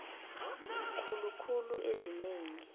khulu khulu ezingeni